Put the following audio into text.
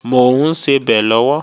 Mò ń sebẹ̀ lọ́wọ́